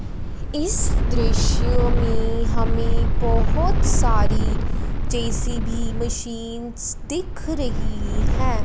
इस दृश्य में हमें बहोत सारी जे_सी_बी मशीनस् दिख रही हैं।